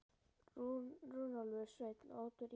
Runólfur Sveinn og Oddur Ingi Sætasti sigurinn?